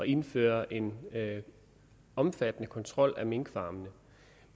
indføre en omfattende kontrol af minkfarmene